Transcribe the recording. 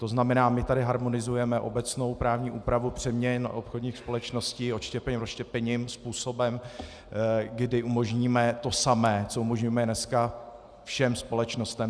To znamená, my tady harmonizujeme obecnou právní úpravu přeměn obchodních společností, odštěpením, rozštěpením, způsobem, kdy umožníme to samé, co umožňujeme dneska všem společnostem.